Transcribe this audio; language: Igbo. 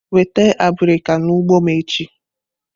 Weta abirika n'ugbo m echi!